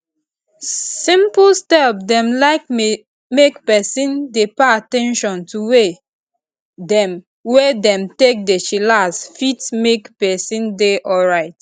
simple step dem like make peson dey pay at ten tion to way dem wey dem take dey chillax fit make peson dey alrite